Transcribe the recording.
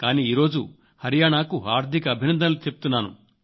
కానీ ఈ రోజు హరియాణాకు హార్దిక అభినందనలు చెబుతున్నాను